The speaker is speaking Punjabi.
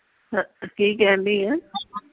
ਕੀ ਕਹਿਣ ਦੀ ਆਂ।